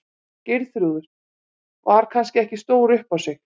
Geirþrúður var kannski ekki stór upp á sig.